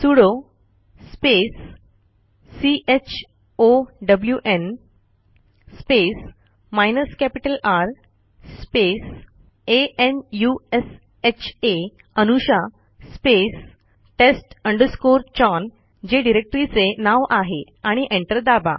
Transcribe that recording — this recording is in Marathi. sudo space chown space minus capital R space a n u s h आ अनुषा spacetest chown जे डिरेक्टरीचे नाव आहे आणि एंटर दाबा